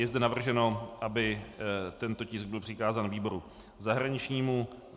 Je zde navrženo, aby tento tisk byl přikázán výboru zahraničnímu.